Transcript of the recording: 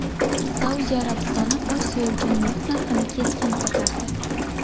Saudiya Arabistoni Osiyo uchun neft narxini keskin ko‘tardi .